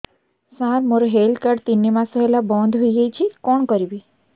ସାର ମୋର health card ତିନି ମାସ ହେଲା ବନ୍ଦ ହେଇଯାଇଛି କଣ କରିବି